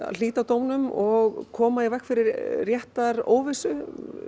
hlíta dómnum og koma í veg fyrir réttaróvissu